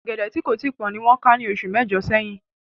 Ọ̀gẹ̀dẹ̀ tí kò tíì pọ́n ni wọ́n ká ní oṣù mẹ́jọ̀ sẹ́yìn